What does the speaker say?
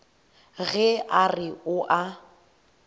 ge a re o a